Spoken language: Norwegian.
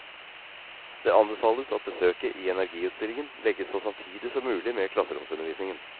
Det anbefales at besøket i energiutstillingen legges så samtidig som mulig med klasseromsundervisningen.